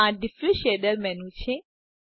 આ diffuse shader menu છે